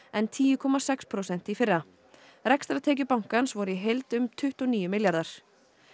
en tíu komma sex prósent í fyrra rekstrartekjur bankans voru í heild um tuttugu og níu milljarðar